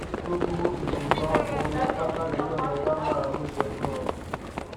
gbogbo èròǹgbà ọkàn wọn pátá lọlọ́run ọba máa múṣe fún wọn